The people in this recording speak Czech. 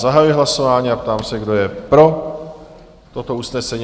Zahajuji hlasování a ptám se, kdo je pro toto usnesení?